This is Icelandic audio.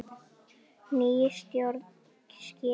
Nýja stjórn skipa.